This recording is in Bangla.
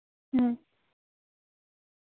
হম